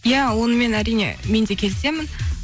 иә онымен әрине мен де келісемін